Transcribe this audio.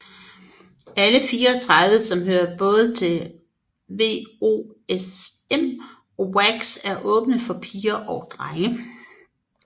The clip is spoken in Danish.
Alle 34 som hører til både WOSM og WAGGGS er åbne for piger og drenge